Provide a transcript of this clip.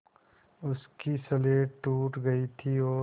उसकी स्लेट टूट गई थी और